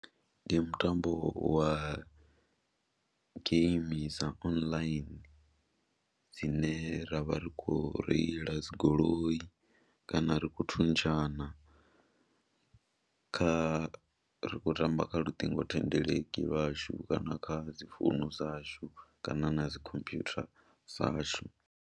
Ndi mutambo wa game dza online dzine ra vha ri khou reila dzi goloi kana ri khou thuntshana kha ri khou tamba kha luṱingothendeleki lwashu kana kha dzi founu dzashu kana na dzi computer dzashu.